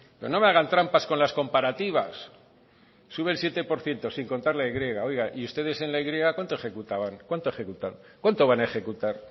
pero no me hagan trampas con las comparativas sube el siete por ciento sin contar con la y oiga y ustedes en la y cuánto ejecutaban cuánto ejecutaron cuánto van a ejecutar